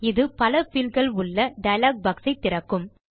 இது பல பீல்ட் கள் உள்ள டயலாக் boxஐ திறக்கும்